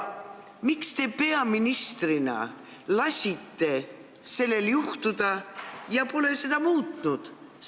Miks te peaministrina lasite sellel juhtuda ja pole seda muutnud?